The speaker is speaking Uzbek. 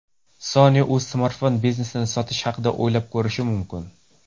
Sony o‘z smartfon biznesini sotish haqida o‘ylab ko‘rishi mumkin.